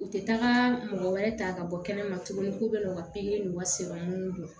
U tɛ taga mɔgɔ wɛrɛ ta ka bɔ kɛnɛma tuguni k'u bɛ n'u ka pikiri n'u ka sɛbɛnw don